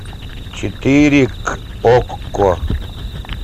четыре к окко